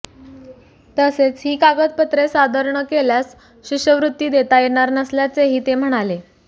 तसेच ही कागदपत्रे सादर न केल्यास शिष्यवृत्ती देता येणार नसल्याचेही ते म्हणाले